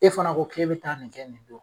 E fana ko k'e bɛ taa nin kɛ nin don